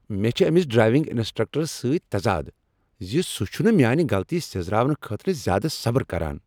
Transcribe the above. مےٚ چھ أمس ڈرایونگ انسٹرکٹرس سۭتۍ تضادٕ ز سُہ چھ نہٕ میانہ غلطی سیٔزراونہٕ خٲطرٕ زیٛادٕ صبٕر کران۔